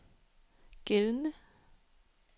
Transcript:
gældende